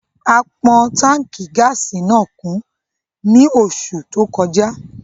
A pọn Tánkì gáàsì náà kún ni oṣù tó kọjá